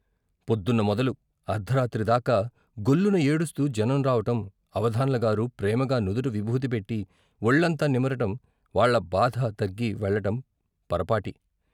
పొద్దున్న మొదలు అర్ధరాత్రి దాకా గొల్లున ఏడుస్తూ జనం రావటం అవధాన్లగారు ప్రేమగా నుదుట విబూది పెట్టి వొళ్ళంతా నిమరటం వాళ బాధ తగ్గి వెళ్ళటం పరపాటి.